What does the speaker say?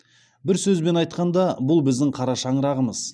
бір сөзбен айтқанда бұл біздің қара шаңырағымыз